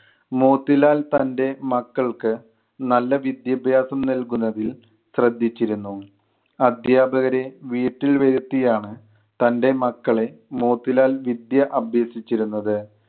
മോത്തിലാൽ തൻ്റെ മക്കൾക്ക് നല്ല വിദ്യാഭ്യാസം നൽകുന്നതിൽ ശ്രെദ്ധിച്ചിരുന്നു. അധ്യാപകരെ വീട്ടിൽ വരുത്തിയാണ് തൻ്റെ മക്കളെ മോത്തിലാൽ വിദ്യ അഭ്യസിച്ചിരുന്നത്.